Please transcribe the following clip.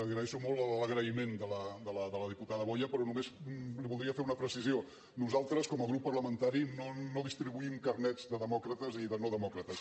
agraeixo molt l’agraïment de la diputada boya però només li voldria fer una precisió nosaltres com a grup parlamentari no distribuïm carnets de demòcrates i de no demòcrates